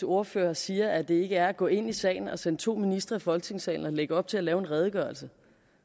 ordfører siger at det ikke er at gå ind i sagen at sende to ministre i folketingssalen og lægge op til at lave en redegørelse